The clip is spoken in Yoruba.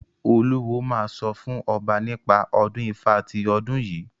Olúwo máa sọ fún ọba nípa ọdún Ifá ti ọdún yìí.